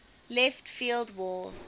left field wall